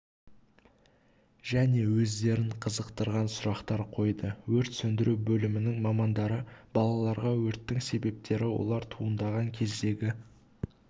және өздерін қызықтырған сұрақтар қойды өрт сөндіру бөлімінің мамандары балаларға өрттің себептері олар туындаған кездегі